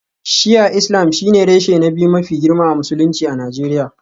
Shi'a Islam shine reshe na biyu mafi girma a Musulunci a Najeriya